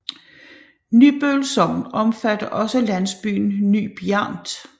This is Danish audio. Nybøl Sogn omfatter også landsbyen Ny Bjernt